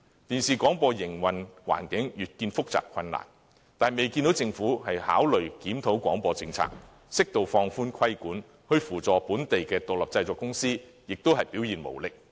電視廣播的營運環境越見複雜困難，卻未見政府考慮檢討廣播政策，適度放寬規管，在扶助本地獨立製作公司方面又表現無力。